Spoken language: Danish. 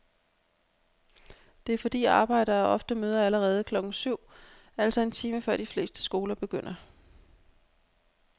Det er fordi arbejdere ofte møder allerede klokken syv, altså en time før de fleste skoler begynder.